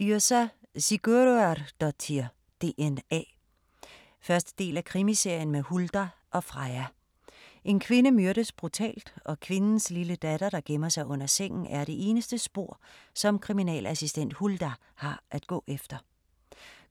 Yrsa Sigurðardóttir: DNA 1. del af Krimiserien med Huldar og Freyja. En kvinde myrdes brutalt, og kvindens lille datter, der gemmer sig under sengen, er det eneste spor som kriminalassistent Huldar har at gå efter.